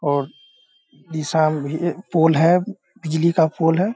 और ईशान ये पोल हैं बिजली का पोल हैं।